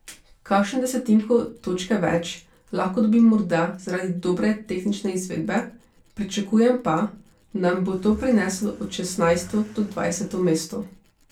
Kakšno desetinko točke več lahko dobim morda zaradi dobre tehnične izvedbe, pričakujem pa, da mi bo to prineslo od šestnajsto do dvajseto mesto.